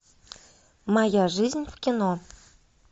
моя жизнь в кино